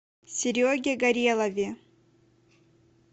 сереге горелове